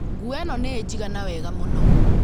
Nguo ĩno nĩ ĩnjiganaga wega mũno